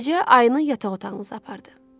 Beləcə ayını yataq otağımıza apardı.